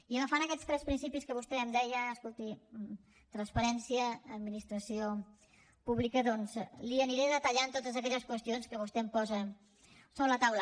i agafant aquests tres principis que vostè em deia escolti transparència administració pública doncs li aniré detallant totes aquelles qüestions que vostè em posa sobre la taula